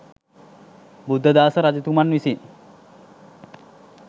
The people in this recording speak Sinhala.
බුද්ධදාස රජතුමන් විසින්